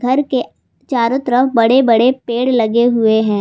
घर के चारों तरफ बड़े बड़े पेड़ लगे हुए हैं।